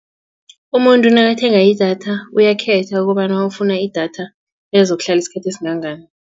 Umuntu nakathenga idatha uyakhetha ukobana ufuna idatha elizokuhlala isikhathi esingangani.